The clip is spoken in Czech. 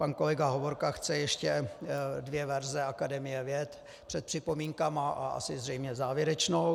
Pan kolega Hovorka chce ještě dvě verze Akademie věd před připomínkami a asi zřejmě závěrečnou.